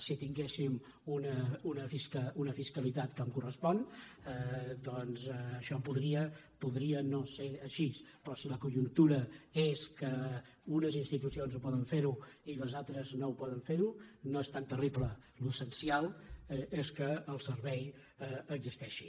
si tinguéssim una fiscalitat com correspon doncs això podria no ser així però si la conjuntura és que unes institucions ho poden fer i les altres no ho poden fer no és tan terrible l’essencial és que el servei existeixi